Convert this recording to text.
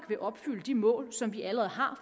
vil opfylde de mål som vi allerede har